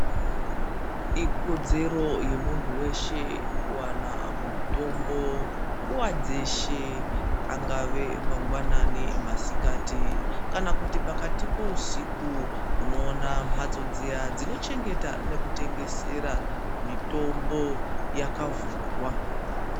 Kodzero yemuntu weshe kuwana mitombo nguva dzose angave mangwanani , masikati kana pakati peusiku inokona mhatso dziya dzinochengetwa nekutengesera mitombo yavhurwa.